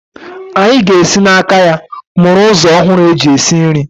Anyị ga-esi n'aka ya mụrụ ụzọ ọhụrụ eji esi nri.